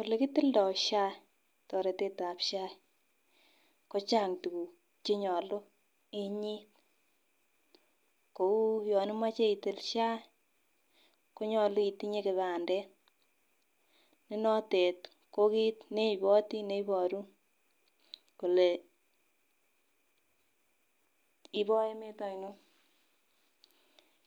Ole kitildo SHA toretetab SHA kochang tukuk chenyolu Inuit kou yon imoche itil SHA konyolu itinye kipandet ne notet ko kit neibotii neboru kole ibo emet oinon .